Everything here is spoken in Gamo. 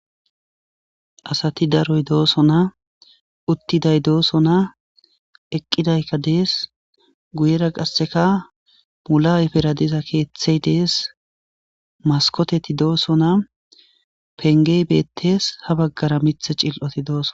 asati daroy dooso na uttiday dooso na eqqidaykka dees guyera qasseka mula7eperadiza keeththey dees maskoteti dooso na pengey beettees ha baggara mith cil7oti dooso